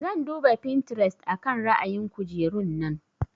Zan duba Pinterest akan ra'ayin kujerun nan.